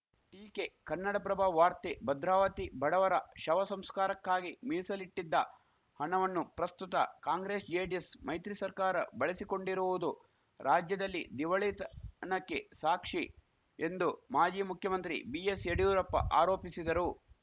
ಟೀಕೆ ಕನ್ನಡಪ್ರಭ ವಾರ್ತೆ ಭದ್ರಾವತಿ ಬಡವರ ಶವ ಸಂಸ್ಕಾರಕ್ಕಾಗಿ ಮೀಸಲಿಟ್ಟಿದ್ದ ಹಣವಣ್ಣು ಪ್ರಸ್ತುತ ಕಾಂಗ್ರೆಸ್‌ ಜೆಡಿಎಸ್‌ ಮೈತ್ರಿ ಸರ್ಕಾರ ಬಳಸಿಕೊಂಡಿರುವುದು ರಾಜ್ಯದಲ್ಲಿ ದಿವಾಳಿತನಕ್ಕೆ ಸಾಕ್ಷಿ ಎಂದು ಮಾಜಿ ಮುಖ್ಯಮಂತ್ರಿ ಬಿಎಸ್‌ ಯಡಿಯೂರಪ್ಪ ಆರೋಪಿಸಿದರು